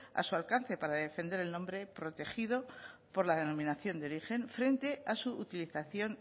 a su alcance para defender el nombre protegido por la denominación de origen frente a su utilización